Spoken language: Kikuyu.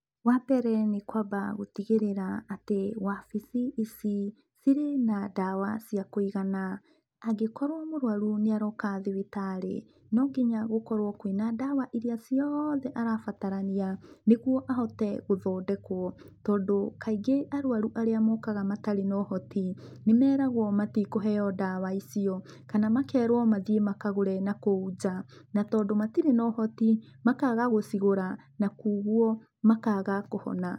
Wambere nĩ kwamba gũtĩgĩrĩra atĩ wabici ici, cire na ndawa cia kũigana. Angĩkorwo mũrwaru nĩ aroka thibitari, no nginya gũkorwo kwina ndawa irĩa ciothe arabatarania nĩgũo ahote gũthondekwo. Tondũ kaingĩ arwaru aríĩ mokaga matarĩ na ũhoti nĩ meragwo matikũheo ndawa icio kana makerwo mathĩe makagũre nakũũ nja. Na tondũ matire na ũhoti makaga gũcigũra na kogwo makaga kũhona.